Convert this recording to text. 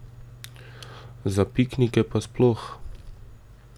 Za piknike pa sploh.